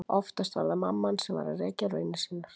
Oftast var það mamma hans sem var að rekja raunir sínar.